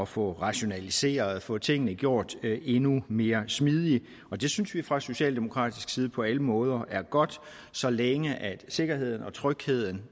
få rationaliseret få tingene gjort endnu mere smidige og det synes vi fra socialdemokratisk side på alle måder er godt så længe sikkerheden og trygheden